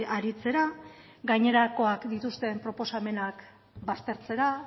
aritzera gainerakoak dituzten proposamenak baztertzera